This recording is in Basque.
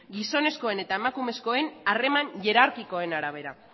gizonezkoen eta emakumezkoen harreman hierarkikoen arabera